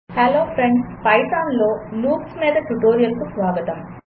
hello friends పైథాన్లో loops మీద ట్యుటోరియల్కు స్వాగతం